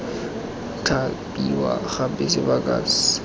thapiwa gape sebaka sa paka